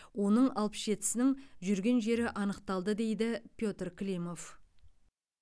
оның алпыс жетісінің жүрген жері анықталды дейді петр климов